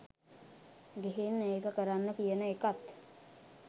ගිහින් ඒක කරන්න කියන එකත්